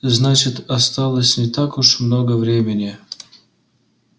значит осталось не так уж много времени